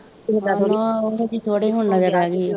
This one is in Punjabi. ਹਮ ਉਹਜੇ ਥੋੜੇ ਹੁਣ ਰੇਹਗੇ